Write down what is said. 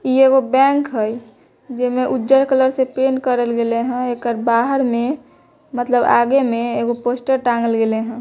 इ एगो बैंक हई जेमे उज्जर कलर से पेंट करल गेले हई एकड़ बाहर में मतलब एकर आगे में पोस्टर टांगल गैइले हई।